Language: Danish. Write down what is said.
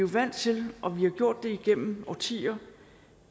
vant til og vi har gjort det igennem årtier